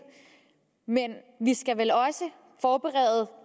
men vi skal vel også forberede